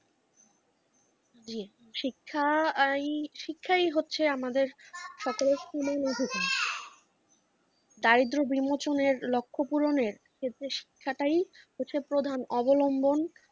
শিক্ষা এই শিক্ষাই হচ্ছে আমাদের ছাত্র স্কুলে দারিদ্র্য বিমোচনের লক্ষ্য পূরণের ক্ষেত্রে শিক্ষাটাই হচ্ছে প্রধান অবলম্বন।